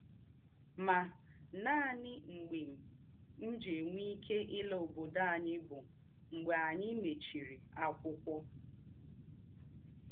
Mà, nánị mḡbè m jì̄ ènwé íké ìlà ǒbòdò ányị bụ̀ mḡbè ányị mèrèchìrì àkwụ́kwọ́.